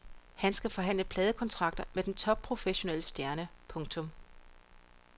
Han skal forhandle pladekontrakter med den topprofessionelle stjerne. punktum